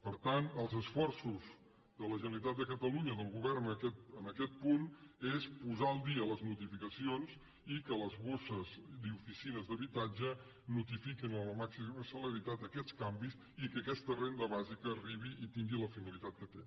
per tant els esforços de la generalitat de catalunya del govern en aquest punt és posar al dia les notificacions i que les borses i les oficines d’habitatge notifiquin amb la màxima celeritat aquests canvis i que aquesta renda bàsica arribi i tingui la finalitat que té